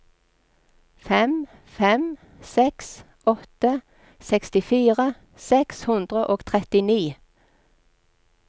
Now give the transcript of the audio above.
fem fem seks åtte sekstifire seks hundre og trettini